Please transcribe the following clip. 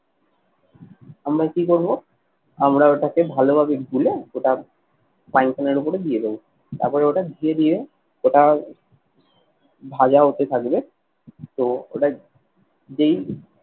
আমরা কি করবো, আমরা ওটাকে ভালোভাবে গুলে ওটা frying pan এর ওপরে দিয়ে দেবো। তারপরে ওটা দিয়ে দিয়ে ওটা ভাজা হতে থাকবে তো ওটা যেই